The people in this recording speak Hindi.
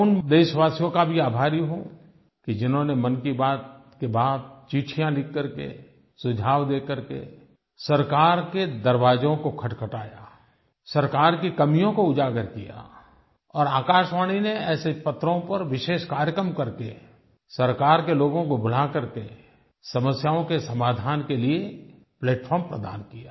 मैं उन देशवासियों का भी आभारी हूँ कि जिन्होंने मन की बात के बाद चिट्ठियाँ लिख करके सुझाव दे करके सरकार के दरवाज़ों को खटखटाया सरकार की कमियों को उजागर किया और आकाशवाणी ने ऐसे पत्रों पर विशेष कार्यक्रम करके सरकार के लोगों को बुला करके समस्याओं के समाधान के लिये प्लैटफार्म प्रदान किया